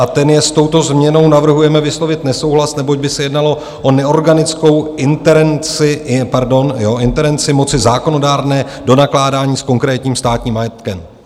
A ten je: S touto změnou navrhujeme vyslovit nesouhlas, neboť by se jednalo o neorganickou interenci - pardon, jo interenci - moci zákonodárné do nakládání s konkrétním státním majetkem.